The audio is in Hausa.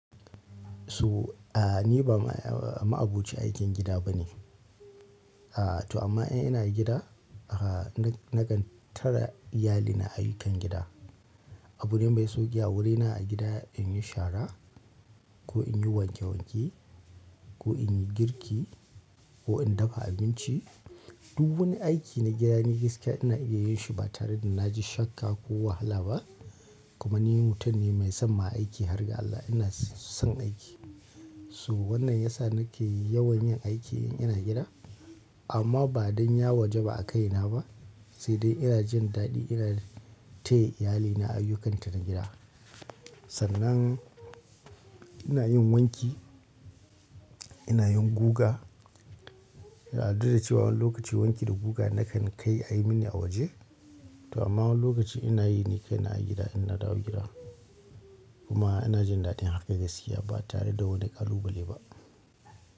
So, a ni ba ma-ma'aboci aikin gida ba ne. A to amma in ina gida, aka na kan tara iyalina ayyukan gida. Abune mai sauƙi a wurina a gida in yi shara ko in yi wanke wanke ko in yi girki ko in dafa abinci. Duk wani aiki na gida ni gaske ina iya yin shi ba tare da na ji shakka ko wahala ba. Kuma ni mutum ne mai son ma aiki, har ga Allah ina son aiki. So wannan ya sa nake yawan yin aiki in ina gida. Amma ba don ya wajaba a kaina ba, sai dai ina jin daɗi ina ta iyalina ayyukanta na gida. Sannan ina yin wanki, ina yin guga. A duk da cewa wani lokaci wanki da guga nakan kai a yi mini a waje. To amma wani lokaci ina yi ne kai a gida in na dawo gida. Kuma ina jin daɗin haka gaskiya ba tare da wani ƙalubale ba.